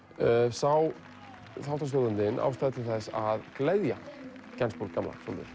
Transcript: sá þáttastjórnandinn ástæðu til þess að gleðja Gainsbourg gamla svolítið